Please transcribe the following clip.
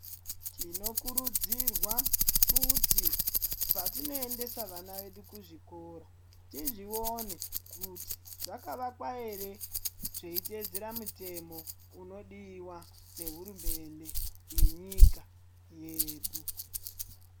Tinokurudzirwa kuti patinoendesa vana vedu kuzvikora tizvione kuti zvakavakwa here zveitevedzera mutemo unodiwa nehurumende yenyika yedu.